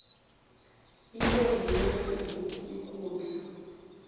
ibe yinengi ukudlula